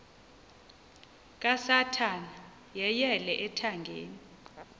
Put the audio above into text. kasathana yeyele ethangeni